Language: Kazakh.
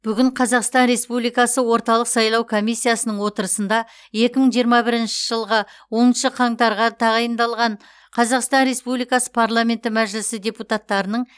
бүгін қазақстан республикасы орталық сайлау комиссиясының отырысында екі мың жиырма бірінші жылғы оныншы қаңтарға тағайындалған қазақстан республикасы парламенті мәжілісі депутаттарының